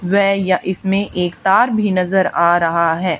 वै यह इसमें एक तार भी नजर आ रहा है।